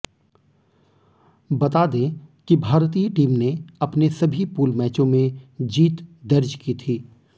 बता दें कि भारतीय टीम ने अपने सभी पूल मैचों में जीत दर्ज की थी